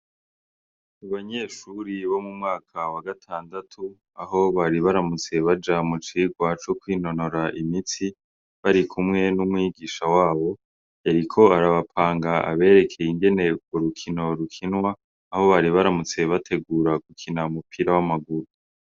Abanyeshure bo mu mwaka wa gatandatu , aho bari baramutse baja mu cigwa co kwinonora imitsi barikumwe n ' umwigisha wabo , yariko arabapanga abereke ingene urukino rukinwa aho bari baramutse bategura gukina umupira w' amaguru.